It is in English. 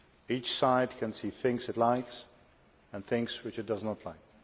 Each side can see things it likes, and things which it does not like.